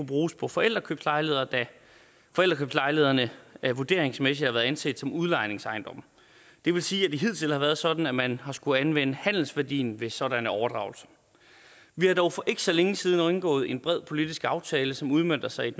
bruges på forældrekøbslejligheder da forældrekøbslejlighederne vurderingsmæssigt har været anset som udlejningsejendomme det vil sige at det hidtil har været sådan at man har skullet anvende handelsværdien ved sådanne overdragelser vi har dog for ikke så længe siden indgået en bred politisk aftale som udmønter sig i